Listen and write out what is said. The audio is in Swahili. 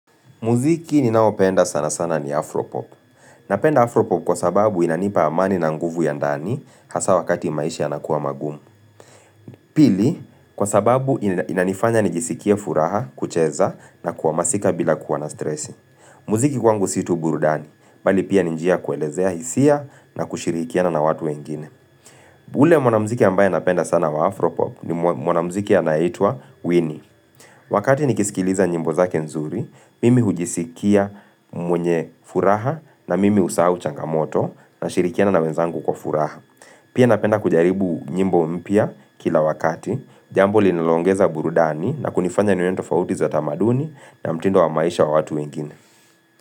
Muziki ninaopenda sana sana ni Afropop. Napenda Afropop kwa sababu inanipa amani na nguvu ya ndani hasa wakati maisha yanakuwa magumu. Pili, kwa sababu inanifanya nijisikia furaha, kucheza na kuwa masika bila kuwa na stresi. Muziki kwangu si tu burudani, bali pia ni njia kuelezea hisia na kushirikiana na watu wengine. Ule mwanamziki ambaye napenda sana wa Afropop ni mwanamziki anayetwa Winnie. Wakati nikisikiliza nyimbo zake nzuri, mimi hujisikia mwenye furaha na mimi husahau changamoto nashirikiana na wenzangu kwa furaha. Pia napenda kujaribu nyimbo mpya kila wakati, jambo linaloongeza burudani na kunifanya nione tofauti za tamaduni na mtindo wa maisha wa watu wengine.